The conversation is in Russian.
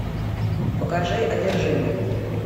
покажи одержимый